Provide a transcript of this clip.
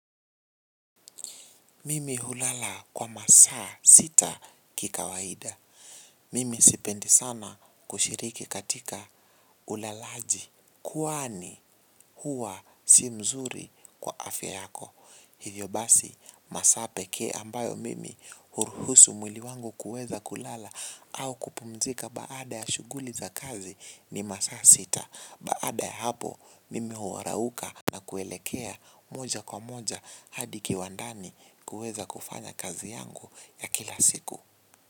Mimi hulala kwa masaa sita kikawaida. Mimi sipendi sana kushiriki katika ulalaji. Kwani huwa si mzuri kwa afya yako. Hivyo basi masaa pekee ambayo mimi huruhusu mwili wangu kuweza kulala au kupumzika baada ya shuguli za kazi ni masaa sita. Baada ya hapo mimi hurauka na kuelekea moja kwa moja hadi kiwandani kuweza kufanya kazi yangu ya kila siku.